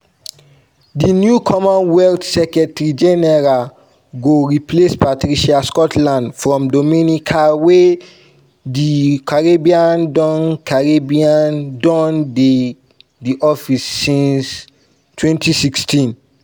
di new commonwealth secretary general go replace patricia scotland from dominica wey di caribbean don caribbean don dey di office since 2016.